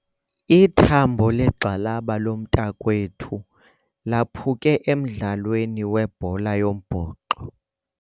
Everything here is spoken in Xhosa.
Ithambo legxalaba lomntakwethu laphuke emdlalweni webhola yombhoxo.